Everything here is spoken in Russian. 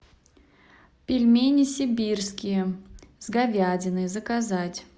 пельмени сибирские с говядиной заказать